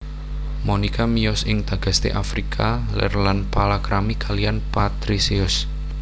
Monika miyos ing Tagaste Afrika Lèr lan palakrami kaliyan Patrisius